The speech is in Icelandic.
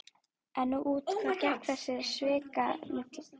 En út á hvað gekk þessi svikamylla?